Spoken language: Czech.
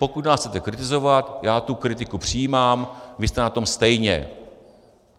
Pokud nás chcete kritizovat, já tu kritiku přijímám, vy jste na tom stejně.